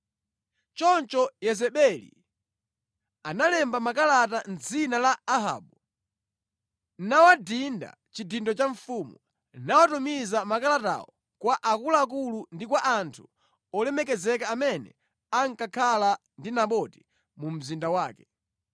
Choncho Yezebeli analemba makalata mʼdzina la Ahabu, nawadinda chidindo cha mfumu, nawatumiza makalatawo kwa akuluakulu ndi kwa anthu olemekezeka amene ankakhala ndi Naboti mu mzinda mwake.